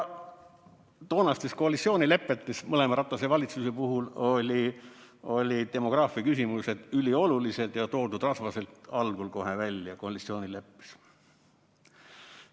Toonastes koalitsioonilepetes mõlema Ratase valitsuse puhul olid demograafiaküsimused üliolulised ja toodud rasvaselt algul kohe välja koalitsioonileppes.